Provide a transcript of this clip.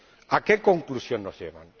¿A qué conclusión nos llevan?